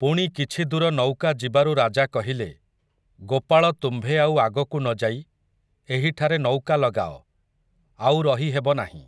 ପୁଣି କିଛି ଦୂର ନୌକା ଯିବାରୁ ରାଜା କହିଲେ, ଗୋପାଳ ତୁମ୍ଭେ ଆଉ ଆଗକୁ ନ ଯାଇ ଏହିଠାରେ ନୌକା ଲଗାଅ, ଆଉ ରହି ହେବ ନାହିଁ ।